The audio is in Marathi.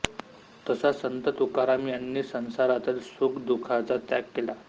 तसा संत तुकाराम यांनी संसारातील सुखदुःखाचा त्याग केला